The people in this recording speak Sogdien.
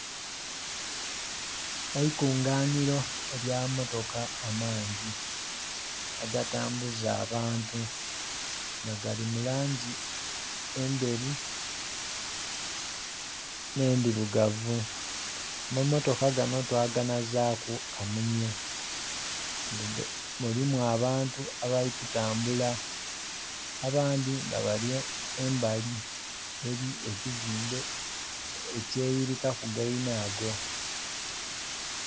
Eikunganhiro elya amammotoka amangi, agatambuza abantu nga gali mu langi endheru, nh'endhilugavu. Mammotoka ganho twaganazaaku kamunye nga mulimu abantu abali kutambula, abandhi nga bali embali eli ekizimbe ekyeyirikaku gainago.